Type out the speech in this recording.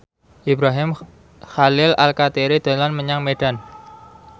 Ibrahim Khalil Alkatiri dolan menyang Medan